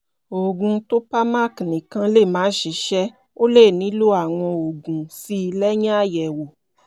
òògùn topamac nìkan lè má ṣiṣẹ́ o le nílò àwọn òògùn síi lẹ́yìn àyẹ̀wò